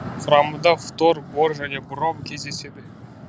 құрамында фтор бор және бром кездеседі